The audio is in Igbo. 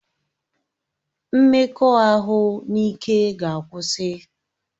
Mmekọahụ n'ike ga akwụsị